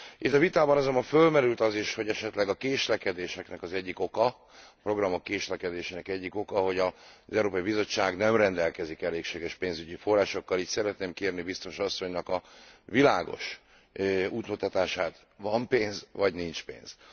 Itt a vitában azonban fölmerült az is, hogy esetleg a késlekedéseknek az egyik oka, a programok késlekedésének egyik oka, hogy az Európai Bizottság nem rendelkezik elégséges pénzügyi forrásokkal, így szeretném kérni Biztos asszonynak a világos útmutatását, van pénz vagy nincs pénz?